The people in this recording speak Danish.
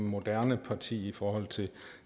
moderne parti i forhold til